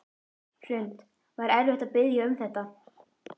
Hrund: Var erfitt að biðja um þetta?